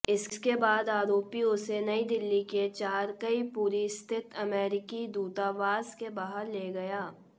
इसके बाद आरोपी उसे नयी दिल्ली के चाणक्यपुरी स्थित अमेरिकी दूतावास के बाहर ले गया